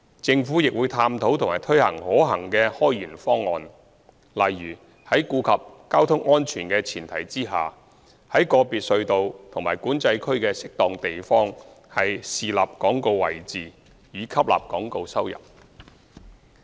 政府亦會探討和推行可行的開源方案，例如在顧及交通安全的前提下，於個別隧道及管制區的適當地方豎立廣告位置，以吸納廣告收入。